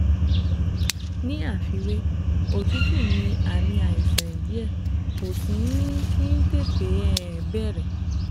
Ní àfiwé, òtútù ní àmì àìsàn díẹ̀ kò sì um kí ń tètè um bẹ̀rẹ̀